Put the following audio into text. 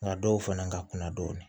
Nka dɔw fana ka kuna dɔɔnin